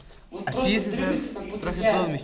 вот просто дрыгаться как будто я